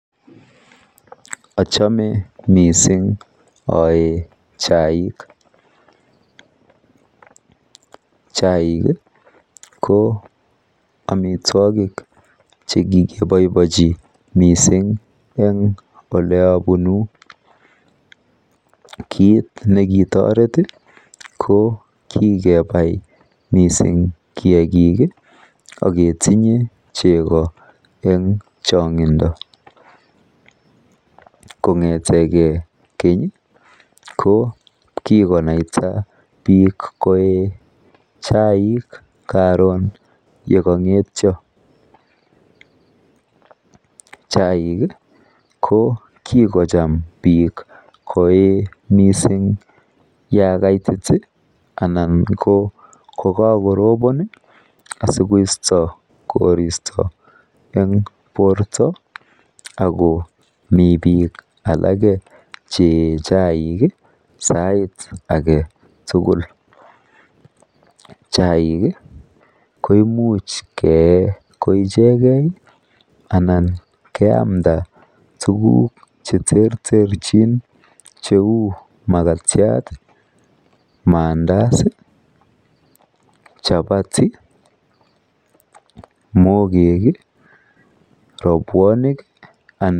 ochome mising oee chaik, chaik iih ko omitwogik chegikiboibochi mising en eleobunuu, kiit nekitoreet iih ko kigebai mising kiagiiim iih akketinye chego en chongindo, kongetegee keny iih ko kigonaita biik ko chaik karoon yegangetyo, ko chaik iih ko kigocham biik mising koee yaa kaitit iih anan ko kogakorobon iih asigoisto koristo, en borto ago mii biik alage chee chaik iih sait agetugul, chaik iiih koimuch kee koichege anan keamnda tuguuk cheterter chin cheuu magatyaat, mandazi, chapati, mbogeek iih, robwonik anan,,